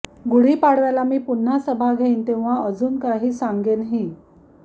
गुढीपाडव्याला मी पुन्हा सभा घेईन तेव्हा अजून काही सांगने नाही